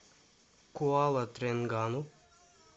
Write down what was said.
куала тренгану